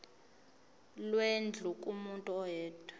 lwendlu kumuntu oyedwa